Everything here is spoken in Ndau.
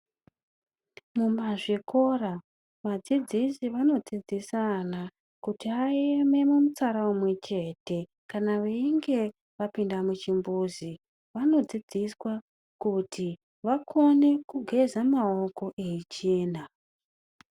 Muzvikora, vadzidzisi vanodzidzisa ana kuti aeme mumutsara umwechete. Kana veinge vapinda muchimbuzi ,vanodzidziswa kuti vakone kugeza maoko eichena.